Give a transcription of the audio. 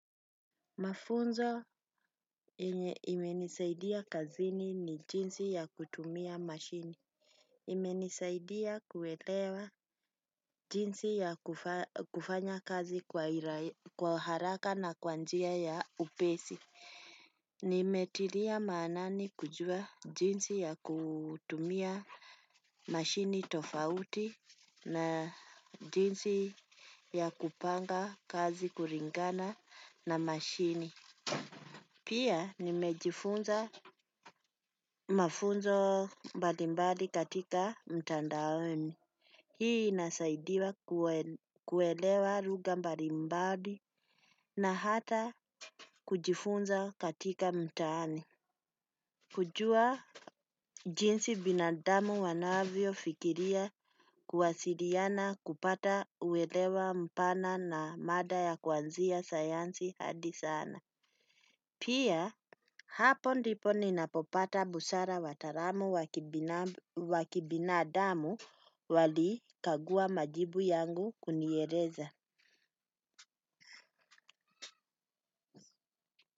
Mafunzo enye imenisaidia kazini ni jinsi ya kutumia mashini. Imenisaidia kuwelewa jinsi ya kufanya kazi kwa haraka na kwanjia ya upesi nimetilia maanani kujua jinsi ya kutumia mashini tofauti na jinsi ya kupanga na mashini pia nimejifunza mafunzo mbalimbali katika mtandaoni. Hii inasaidia kuwelewa ruga mbalimbali na hata kujifunza katika mtaani. Kujua jinsi binadamu wanavyo fikiria kuwasiriana kupata uwelewa mpana na mada ya kwanzia sayansi hadi sana. Pia hapo ndipo ninapopata busara wataramu wa kibinafsi wakibina adamu wali kagua majibu yangu kuniereza.